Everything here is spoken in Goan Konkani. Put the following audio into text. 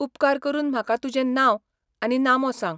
उपकार करून म्हाका तुजें नांव आनी नामो सांग.